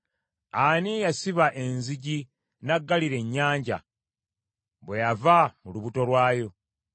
ani eyasiba enzigi n’aggalira ennyanja, bwe yava mu lubuto lwayo?